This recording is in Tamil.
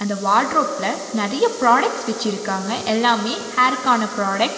இந்த வார்ட்ரோப்ல நிறைய ப்ராடக்ட்ஸ் வச்சிருக்காங்க எல்லாமே ஹேர்கான ப்ராடக்ட் .